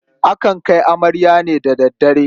Akan kai amarya ne da daddare.